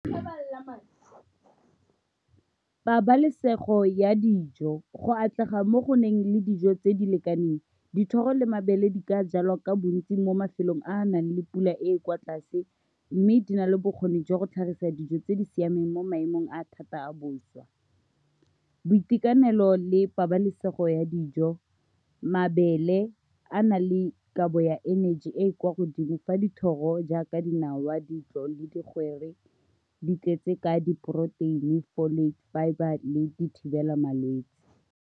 Pabalesego ya dijo go atlega mo go nang le dijo tse di lekaneng. Dithoro le mabele di ka jalwa ka bontsi mo mafelong a a nang le pula e e kwa tlase, mme di na le bokgoni jwa go tlhagisa dijo tse di siameng mo maemong a a thata a bosa, boitekanelo le pabalesego ya dijo, mabele a na le kabo ya energy e e kwa godimo, fa dithoro jaaka dinawa, ditlo le digwere di tletse ka di-porotein-ni, folic fibre, le di thibela malwetsi.